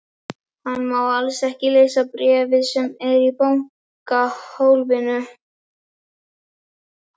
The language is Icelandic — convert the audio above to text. Hann má alls ekki lesa bréfið sem er í bankahólfinu.